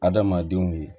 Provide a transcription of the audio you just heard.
Adamadenw ye